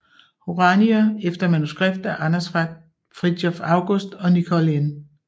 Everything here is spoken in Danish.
Horanyi efter manuskript af Anders Frithiof August og Nicole N